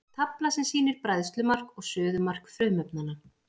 tafla sem sýnir bræðslumark og suðumark frumefnanna